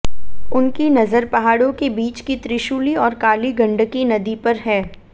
उनकी नजर पहाड़ों के बीच की त्रिशूली और काली गण्डकी नदी पर है